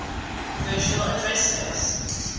virtual address space